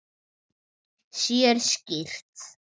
Sér skýrt.